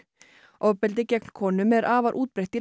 ofbeldi gegn konum er afar útbreitt í